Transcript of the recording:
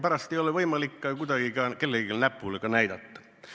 Pärast ei ole võimalik kuidagi kellelegi näpuga näidata.